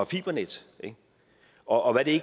fibernet og hvad det